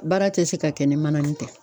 Baara tɛ se ka kɛ ni mananin tɛ.